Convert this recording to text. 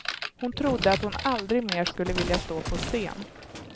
Hon trodde att hon aldrig mer skulle vilja stå på scen.